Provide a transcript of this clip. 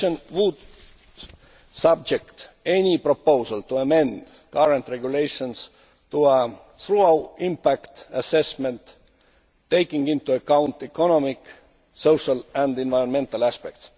The Commission will subject any proposal to amend current regulations to a thorough impact assessment, taking into account economic, social and environmental aspects.